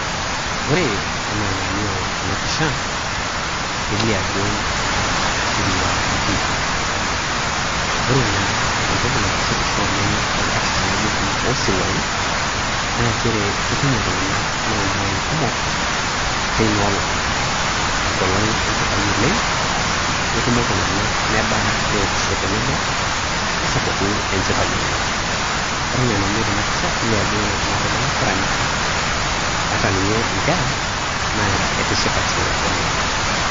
Ore enaa enalio tena pisha, kelio ajo osirua etiiki. Ore naa entoki naitishipisho oleng toonkatitin naijo kuna oosiruai naa nchere ketumo iltung'anak loomwain kumok teina olong. Enkolong enchipai oleng, netumo iltung'anak, nedaa neokisho tenebo nesapuku enchipai oleng. Ore enaa enalio tena pisha, kelio ajo ore kuna tomonok keranyita ata ninye inkera naa etishipate oleng